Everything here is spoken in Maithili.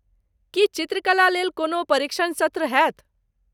की चित्रकला लेल कोनो परीक्षण सत्र होयत?